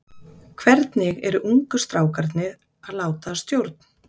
Hvernig eru ungu strákarnir að láta að stjórn?